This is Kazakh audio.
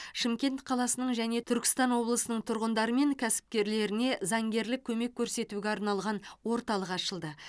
шымкент қаласының және түркістан облысының тұрғындары мен кәсіпкерлеріне заңгерлік көмек көрсетуге арналған орталық ашылды